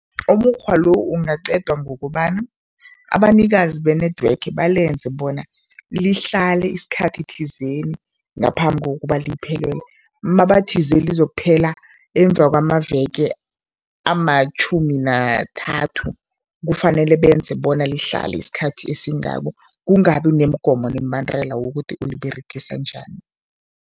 Umukghwa lo ungaqedwa ngokobana abanikazi be-network balenze bona lihlale isikhathi thizeni ngaphambi kokuba liphelelwa. Mabathize lizokuphela emva kwamaveke amatjhumi nathathu, kufanele benze bona lihlale isikhathi esingako, kungabi nemigomo nemibandela wokuthi uliberegisa njani.